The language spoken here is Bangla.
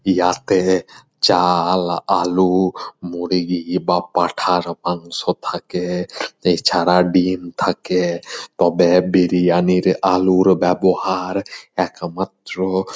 ইয়াতে চাল আলু মুরগি বা পাঠার মাংস থাকে |এছাড়া ডিম থাকে তবে বিরিয়ানির আলুর ব্যবহার একমাত্র --